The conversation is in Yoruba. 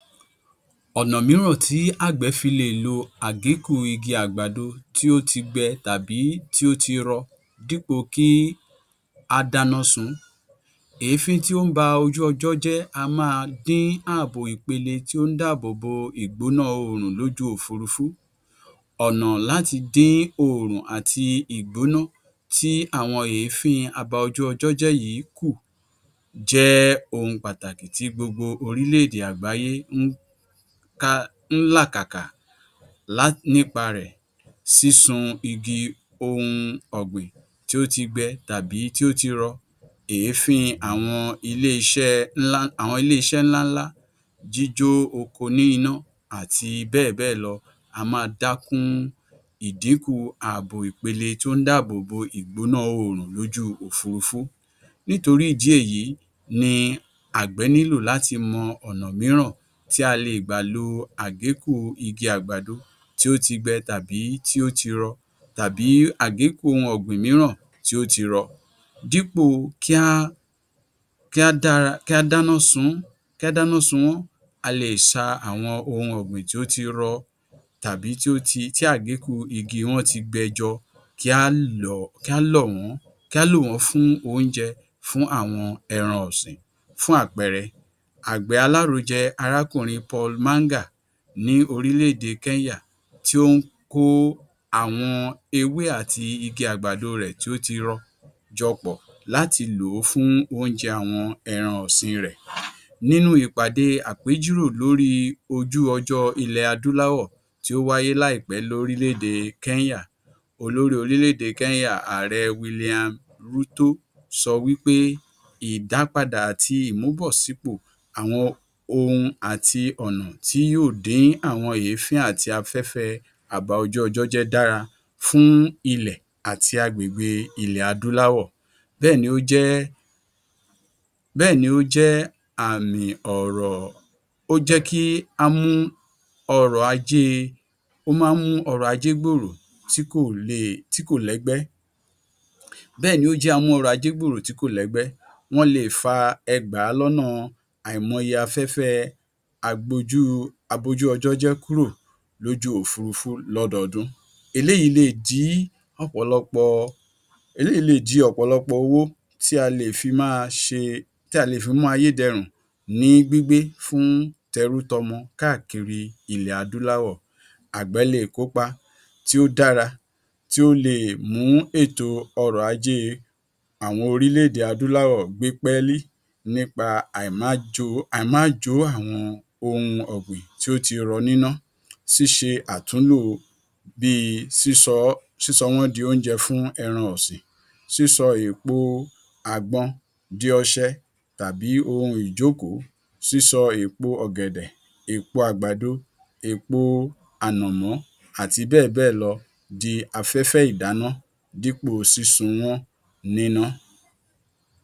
Ọ̀nà mìíràn tí àgbẹ̀ fi lè lo àgékù igi àgbàdo tí ó ti gbẹ tàbí tí ó ti rọ dípò kí á dáná sun-ún. Èéfín tí ó ń ba ojú ọjọ́ jẹ́ á máa dín ààbò ìpele tí ó ń dáàbòbò ìgbóná òòrùn lójú òfurufú. Ọ̀nà láti dín òòrùn àti ìgbóná tí àwọn èéfín abaojúọjọ́jẹ́ yìí kù jẹ́ ohun pàtàkì tí gbogbo orílẹ̀ èdè àgbáyé ń ká ń làkàkà la nípa rẹ̀. Sísun igi ohun ọ̀gbìn tí ó ti gbẹ tàbí tí ó ti rọ, èéfín àwọn ilé-iṣẹ́ ńlá àwọn ilé-iṣẹ́ ńlá ńlá, jíjó oko ní iná àti bẹ́ẹ̀bẹ́ẹ̀lọ á máa dá kún ìdínkù ààbò ìpele tí ó ń dáàbòbò ìgbóná òòrùn lójú òfurufú. Nítorí ìdí èyí ni àgbẹ̀ nílò láti mọ̀ ọ̀nà mìíràn tí a leè gbà lo àgékù igi àgbàdo tí ó ti gbẹ tàbí tí ó ti rọ tàbí àgékù ohun ọ̀gbìn mìíràn tí ó ti rọ dípò kí á kí á dára kí á dáná sun-ún kí á dáná sun wọ́n. A leè ṣa àwọn ohun ọ̀gbìn tí ó ti rọ tàbí tí ó ti tí àgékù igi wọn ti gbẹ jọ, kí á lọ̀ọ́ kí á lọ̀ wọ́n kí á lò wọ́n fún oúnjẹ fún àwọn ẹran ọ̀sìn. Fún àpẹẹrẹ àgbẹ alárojẹ arákùnrin ní orílẹ̀ èdè Kẹ́ńyà tí ó ń kó àwọn ewé àti igi àgbàdo rẹ̀ tí ó ti rọ jọ pọ̀ láti lòó fún oúnjẹ àwọn ẹran ọ̀sìn rẹ̀. Nínú ìpàde àpéjírò lórí ojú ọjọ́ ilẹ̀ Adúláwọ tí ó wáyé láìpẹ́ ní orílẹ̀ èdè Kẹ́ńyà. Olórí orílẹ̀ èdè Kẹ́ńyà, Ààrẹ sọ wípé ìdápadà àti ìmúbọ́sípò àwọn ohun àti ònà tí yóò dín àwọn èéfín àti afẹ́fẹ́ abaojúọjọ́jẹ́ dára fún ilẹ̀ àti agbègbè ilẹ̀ Adúláwọ. Bẹ́ẹ̀ ni ó jẹ́ bẹ́ẹ̀ ni ó jẹ́ àmì ọ̀rọ̀ ó jẹ́ kí á mú ọrọ̀ ajé ó máa ń mú ọrọ̀ ajé gbòòrò tí kò leè tí kò lẹ́gbẹ́ bẹ́ẹ̀ ni ó jẹ́ amú ọrọ̀ ajé gbòòrò tí kò lẹ́gbẹ́. Wọ́n leè fa ẹgbàá lọ́nà àìmọye afẹ́fẹ́ ẹ agbojúu abojúọjọ́jẹ́ kúrò lójú òfurufú lọ́dọọ́dún. Eléyìí leè di ọ̀pọ̀lọpọ̀ eléyìí leè di ọ̀pọ̀lọpọ̀ owó tí a lè fi máa ṣe tí a lè fi máyé dẹrùn ní gbígbé fún tẹrútọmọ káàkiri ilẹ̀ Adúláwọ̀. Àgbẹ̀ leè kópa tí ó dára tí ó leè mú ètò ọrọ̀ ajé àwọn orílẹ̀ èdè Adúláwọ gbé pẹ́lí nípa àìmájòó àìmáàjó àwọn ohun ọ̀gbìn tí ó ti rọ níná. Ṣíṣe àtúnlò bíi sísọ ọ sísọ wọ́n di oúnjẹ fún àwọn ẹran ọ̀sìn. Sísọ èpo àgbọn di ọṣẹ tàbí ohun ìjókòó, sísọ èpo ọ̀gèdè, èpo àgbàdo, èpò ànàmọ́ àti bẹ́ẹ̀ bẹ́ẹ̀ lọ di afẹ́fẹ́ ìdáná dípò sísun wọ́n níná.